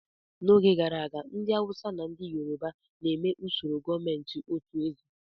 N'oge gara aga, ndị Awụsa na ndị Yoroba na-eme usoro gọọmentị otu eze.